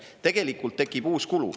Tegelikult tekib uus kulu.